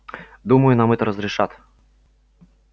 думаю нам это разрешат